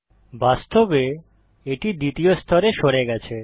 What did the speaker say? বাস্তবে এটি দ্বিতীয় স্তরে সরে গেছে